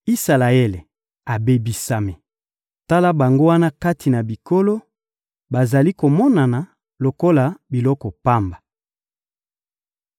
Isalaele abebisami; tala bango wana kati na bikolo, bazali komonana lokola biloko pamba!